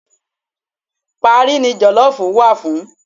Parí ni jọ̀lọ́ọ̀fù wà fún